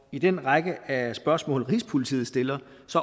i den række af spørgsmål rigspolitiet stiller